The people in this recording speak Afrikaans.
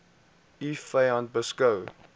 u vyand beskou